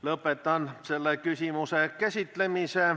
Lõpetan selle küsimuse käsitlemise.